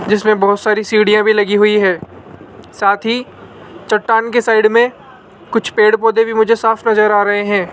जिसमें बहुत सारी सीढ़ियां भी लगी हुई है साथ ही चट्टान के साइड में कुछ पेड़ पौधे भी मुझे साफ नजर आ रहे हैं।